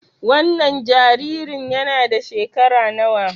Wannan jaririn yana da shekara nawa?